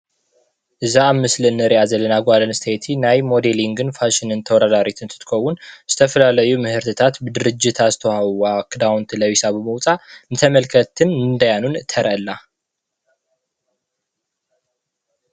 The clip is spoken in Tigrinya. እዛ ኣብ ምስሊ እንሪኣ ዘለና ጓል ኣነስተይቲ ናይ ሞዴሊንግን ፋሽንን ተወዳዳሪት እንትትከውን ዝተፈላለዩ ምህርትታት ብድርጅታ ዝተዋሃብዋ ክዳውንቲ ለቢሳ ብምውፃእ ንተመልከትን ንዳያኑን ተርኢ ኣላ፡፡